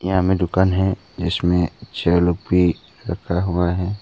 यहां में दुकान है जिसमें चेयर लोग भी रखा हुआ है।